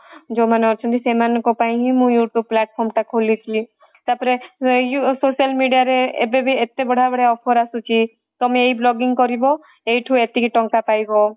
ଯୋଉ ମାନେ ଅଛନ୍ତି ସେଇ ମାନଙ୍କ ପାଇଁ ହିଁ ମୁଁ youtube platform ଟା ଖୋଲିଥିଲି ତାପରେ social media ରେ ଏବେ ବି ଏତେ ବଢିଆ ବଢିଆ offer ଆସୁଛି ତମେ ଏଇ vlogging କରିବ ଏଇଠି ଏତିକି ଟଙ୍କା ପାଇବ